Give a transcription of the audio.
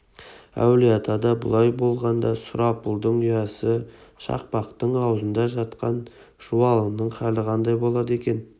әулие-атада бұлай болғанда сұрапылдың ұясы шақпақтың аузында жатқан жуалының халі қандай болды екен